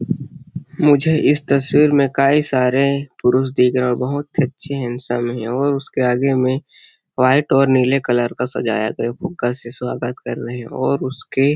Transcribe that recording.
मुझे इसके तस्वीर मे काई सारे पुरुष दिख रहे हैं और बहोत ही अच्छी हैन्सम हैं और उसके आगे में व्हाइट और नीला कलर का सजाया गया फुगा से स्वागत कर रहे हैं और उसके--